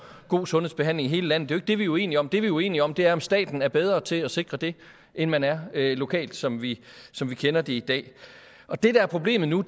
god sundhedsbehandling i hele landet det er det vi er uenige om det vi er uenige om er at staten er bedre til at sikre det end man er lokalt som vi som vi kender det i dag det der er problemet nu